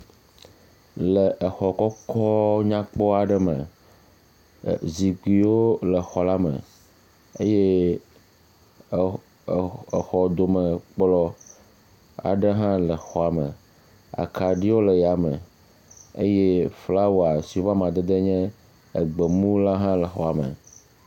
Le xɔ kɔkɔ nyakpɔ aɖe me, zikpuiwo le xɔ la me eye xɔdome kplɔ̃ aɖe hã le xɔa me. Akaɖiwo le yame eye flawa si woƒe amadede nye egbemu hã le xɔa me.